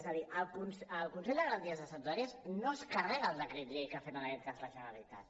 és a dir el consell de garanties estatutàries no es carrega el decret llei que ha fet en aquest cas la generalitat